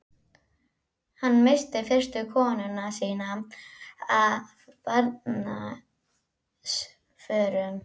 Hann missti fyrstu konuna sína af barnsförum.